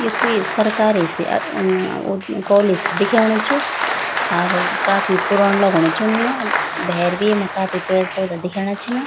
य कुई सरकारी से अ-अ-ओ कॉलेज सी दिखेणु च अर काफी पुरण लगणु च उन्नि यो भैर भी येमा काफी पेड़ पौधा दिखेणा छिन।